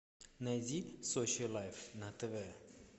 найди сочи лайф на тв